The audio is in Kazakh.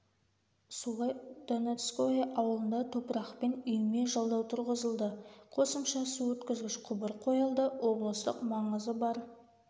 солай донецкое ауылында топырақпен үйме жалдау тұрғызылды қосымша су өткізгіш құбыр қойылды облыстық маңызы бар